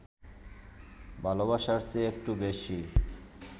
ভালোবাসার চেয়ে একটু বেশি